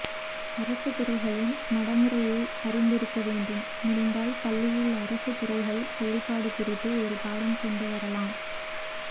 அரசுத் துறைகளின் நடைமுறை அறிந்திருக்க வேண்டும் முடிந்தால் பள்ளியில் அரசுத் துறைகள் செயல்பாடு குறித்து ஒரு பாடம் கொண்டுவரலாம்